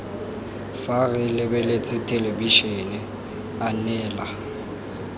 fa re lebeletse thelebišene anela